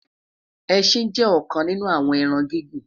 ẹsìn jé òkan nínú àwon ẹran gigun